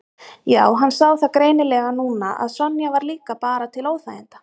Já, hann sá það greinilega núna að Sonja var líka bara til óþæginda.